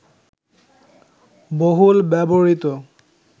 বহুল ব্যবহৃত